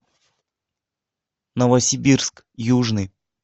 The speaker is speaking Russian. новосибирск южный